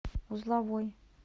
узловой